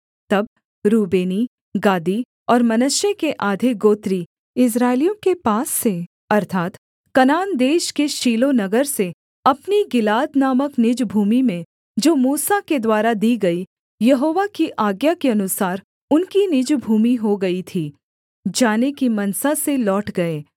तब रूबेनी गादी और मनश्शे के आधे गोत्री इस्राएलियों के पास से अर्थात् कनान देश के शीलो नगर से अपनी गिलाद नामक निज भूमि में जो मूसा के द्वारा दी गई यहोवा की आज्ञा के अनुसार उनकी निज भूमि हो गई थी जाने की मनसा से लौट गए